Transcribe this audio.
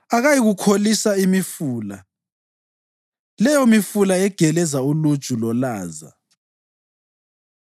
Akayikuyikholisa imifula, leyomifula egeleza uluju lolaza.